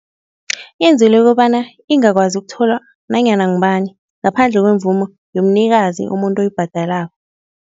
Yenzelwe kobana ingakwazi ukutholwa nanyana ngubani ngaphandle kwemvumo yomnikazi, umuntu oyibhadalako.